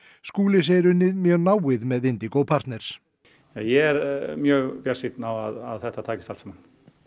Skúli segir unnið mjög náið með Indigo partners ég er mjög bjartsýnn á að þetta takist allt saman